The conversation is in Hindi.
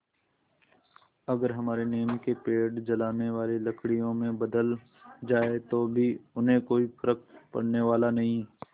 अगर हमारे नीम के पेड़ जलाने वाली लकड़ियों में बदल जाएँ तो भी उन्हें कोई फ़र्क पड़ने वाला नहीं